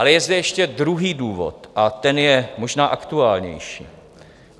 Ale je zde ještě druhý důvod a ten je možná aktuálnější.